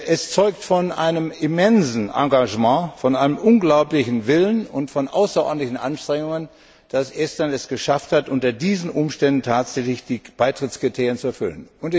Es zeugt von einem immensen Engagement, von einem unglaublichen Willen und von außerordentlichen Anstrengungen, dass Estland es geschafft hat, unter diesen Umständen tatsächlich die Beitrittskriterien zu erfüllen.